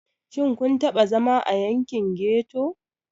Shin kun taɓa zama a yankin ghetto?